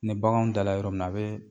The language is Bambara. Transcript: Ne baganw dala yɔrɔ min na a bɛ